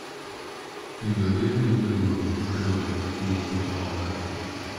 penjo ni dhine jagoro mar riwruog kungo kod hola